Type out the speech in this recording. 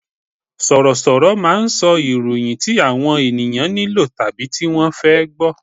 Sọ̀rọ̀ sọ̀rọ̀ máà ń sọ ìròyìn tí àwọn ènìyàn nílò tàbí tí wọ́n fẹ́ gbọ